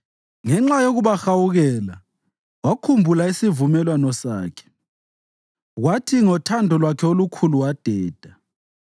ngenxa yokubahawukela wakhumbula isivumelwano sakhe, kwathi ngothando lwakhe olukhulu wadeda.